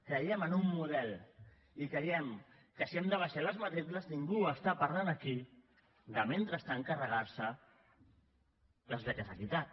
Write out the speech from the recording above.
creiem en un model i creiem que si hem d’abaixar les matrícules ningú parla aquí de mentrestant carregar se les beques equitat